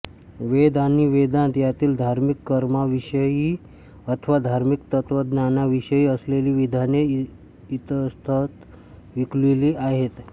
वेद आणि वेदान्त यांतील धार्मिक कर्मांविषयी अथवा धार्मिक तत्त्वज्ञानाविषयी असलेली विधाने इतस्ततः विखुरलेली आहेत